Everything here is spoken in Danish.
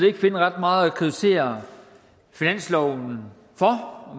ikke finde ret meget at kritisere finansloven for og